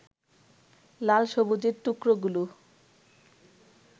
লাল সবুজের টুকরোগুলো